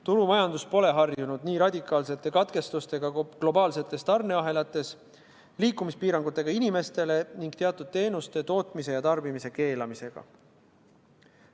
Turumajandus pole harjunud nii radikaalsete katkestustega globaalsetes tarneahelates, inimestele seatud liikumispiirangutega ning teatud teenuste tootmise ja tarbimise keelamisega.